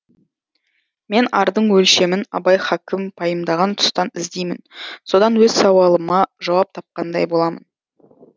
мен ардың өлшемін абай хакім пайымдаған тұстан іздеймін содан өз сауалыма жауап тапқандай боламын